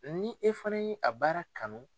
Ni e fana ye a baara kanu.